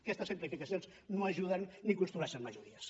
aquestes simplificacions no ajuden ni construeixen majores